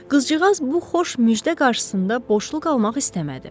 Qızcığaz bu xoş müjdə qarşısında boşluq almaq istəmədi.